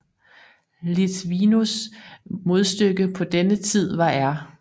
Litvinovs modstykke på denne tid var R